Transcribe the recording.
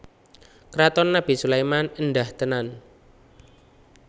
Kraton Nabi Sulaiman éndah tenan